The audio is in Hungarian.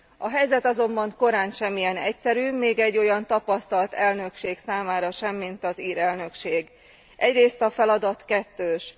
A helyzet azonban korántsem ilyen egyszerű, még egy olyan tapasztalt elnökség számára sem, mint az ír elnökség. Egyrészt a feladat kettős.